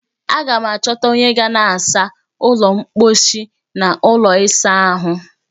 Aga m achọta onye ga na-asa ụlọ mkposhi na ụlọ ịsa ahụ